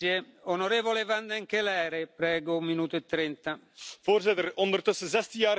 Voorzitter, ondertussen 16 jaar geleden werd de euro ingevoerd in 12 landen van de Europese Unie.